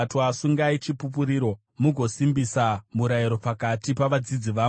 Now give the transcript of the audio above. Sungai chipupuriro mugosimbisa murayiro pakati pavadzidzi vangu.